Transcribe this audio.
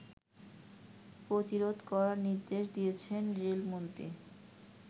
প্রতিরোধ করার নির্দেশ দিয়েছেন রেলমন্ত্রী